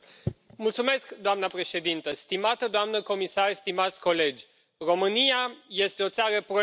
Doamnă președintă, stimată doamnă comisar, stimați colegi, România este o țară proeuropeană.